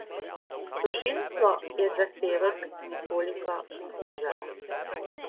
Tožilstvo je zahtevek nekoliko znižalo.